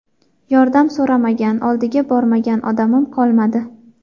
Yordam so‘ramagan, oldiga bormagan odamim qolmadi.